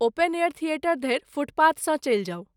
Open air theatre धरि फुटपाथसँ चलि जाउ।